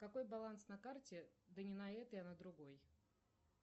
какой баланс на карте да не на этой а на другой